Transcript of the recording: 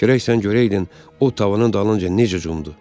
Gərək sən görəydin, o tavanın dalınca necə cumdu.